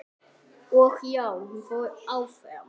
Og já, hún fór áfram!!